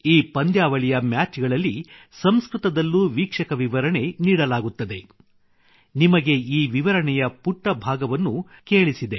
ಈ ಪಂದ್ಯಾವಳಿಯ ಮ್ಯಾಚ್ ಗಳಲ್ಲಿ ಸಂಸ್ಕೃತದಲ್ಲಿ ವೀಕ್ಷಕ ವಿವರಣೆ ನೀಡಲಾಗುತ್ತದೆ ನಿಮಗೆ ಈ ವಿವರಣೆಯ ಪುಟ್ಟ ಭಾಗವನ್ನು ನಿಮಗೆ ಕೇಳಿಸಿದೆ